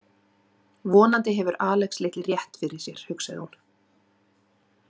Vonandi hefur Alex litli rétt fyrir sér, hugsaði hún.